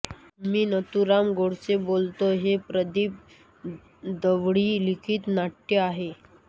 मी नथुराम गोडसे बोलतोय हे प्रदीप दळवी लिखित नाट्य आहे